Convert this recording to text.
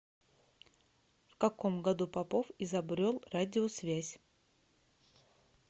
в каком году попов изобрел радиосвязь